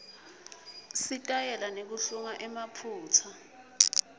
sitayela nekuhlunga emaphutsa